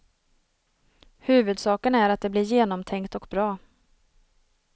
Huvudsaken är att det blir genomtänkt och bra.